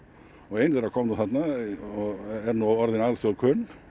ein þeirra kom nú þarna og er nú orðin alþjóð kunn